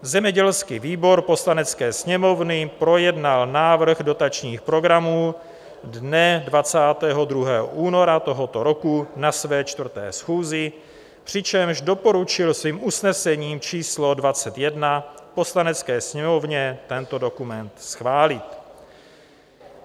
Zemědělský výbor Poslanecké sněmovny projednal návrh dotačních programů dne 22. února tohoto roku na své čtvrté schůzi, přičemž doporučil svým usnesením číslo 21 Poslanecké sněmovně tento dokument schválit.